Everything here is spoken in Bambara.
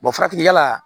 farafin ya la